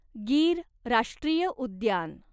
गीर राष्ट्रीय उद्यान